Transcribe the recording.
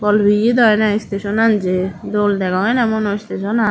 bol peyi dw ene station an j dol degong ene manu station an.